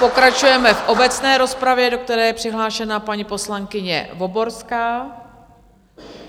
Pokračujeme v obecné rozpravě, do které je přihlášena paní poslankyně Voborská.